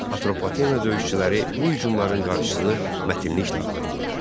Atropatena döyüşçüləri bu hücumların qarşısını mətinliklə alırdılar.